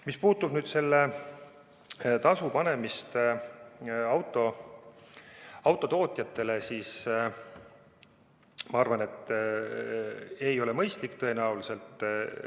Mis puutub selle tasu panemist autotootjatele, siis ma arvan, et see ei ole mõistlik tõenäoliselt.